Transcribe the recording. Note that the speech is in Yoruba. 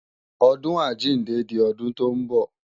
ọdun àjíǹde di ọdún tó ń bọ̀